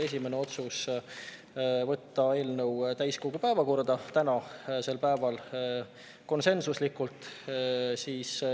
Esimene otsus: võtta eelnõu täiskogu päevakorda tänasel päeval, konsensuslikult.